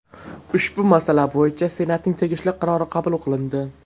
Ushbu masala bo‘yicha Senatning tegishli qarori qabul qilindi.